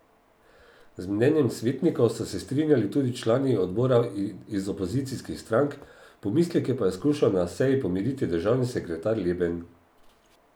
Z mnenjem svetnikov so se strinjali tudi člani odbora iz opozicijskih strank, pomisleke pa je skušal na seji pomiriti državni sekretar Leben.